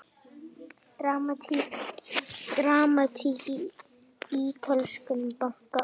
Dramatík í ítölskum banka